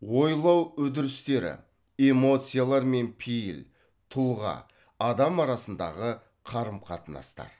ойлау эмоциялар мен пейіл тұлға адамдар арасындағы қарым қатынастар